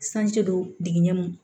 Sanji do digɛn m